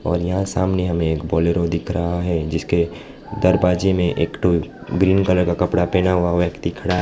और यहां सामने हमें एक बोलेरो दिख रहा है जिसके दरवाजे में एक ठो ग्रीन कलर का कपड़ा पहना हुआ व्यक्ति खड़ा--